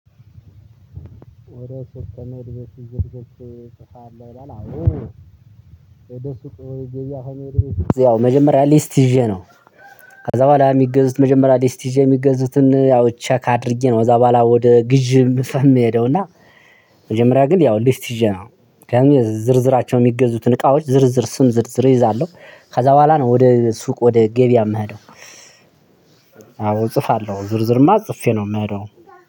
ወደ ሱቅ ከመሄድህ በፊት ዝርዝር ትጽፋለህ? ይላል አዎ። ወደ ሱቅ ወይ ገበያ ከመሄዴ በፊት ያው መጀመሪያ ሊስት ይዤ ነው። ከዛ በኋላ የሚገዙት መጀመሪያ ሊስት ይዤ የሚገዙትን ያው ቸክ አድርጌ ነው ከዛ በኋላ ወደ ግዢ የምሄደው እና መጀመሪያ ግን ያው ሊስት ይዤ ነው። ዝርዝራቸው የሚገዙትን እቃዎች ዝርዝር ስም ዝርዝር እይዛለሁ። ከዛ በኋላ ነው ወደ ሱቅ ወደ ገበያ የምሄደው። አዎ እጽፋለሁ ዝርዝርማ ጽፌ ነው የምሄደው